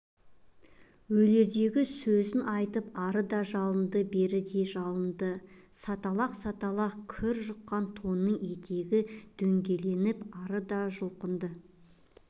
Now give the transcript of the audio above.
өлердегі сөзін айтып ары да жалынды бер де жалынды саталақ-саталақ кірі жұққан тонының етегі дөңгеленіп ары да жұлқынды